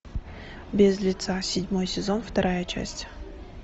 без лица седьмой сезон вторая часть